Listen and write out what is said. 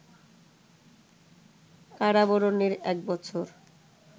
কারাবরণের এক বছর